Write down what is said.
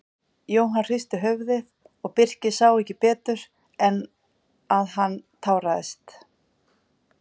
Jóhann hristi höfuðið og Birkir sá ekki betur en að hann táraðist.